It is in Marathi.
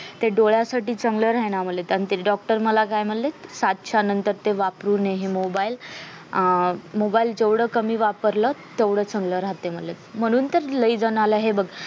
ते डोळ्यांसाठी चांगलं राही ना म्हणे doctor मला काय म्हणले सात च्या नंतर ते वापरू नये mobile mobile जेवढं चांगलं वापरलं तेवढं चांगलं राहते म्हणले म्हणून तर लय जनाला हे बघ